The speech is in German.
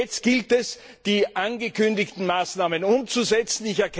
Das heißt, jetzt gilt es, die angekündigten Maßnahmen umzusetzen.